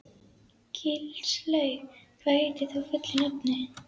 Gilslaug, hvað heitir þú fullu nafni?